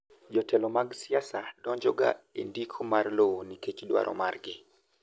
jotelo mag siasa donjo ga e ndiko mar lowo nikech dwaro margi